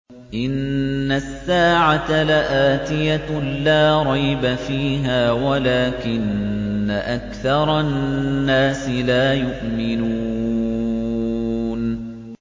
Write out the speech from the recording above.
إِنَّ السَّاعَةَ لَآتِيَةٌ لَّا رَيْبَ فِيهَا وَلَٰكِنَّ أَكْثَرَ النَّاسِ لَا يُؤْمِنُونَ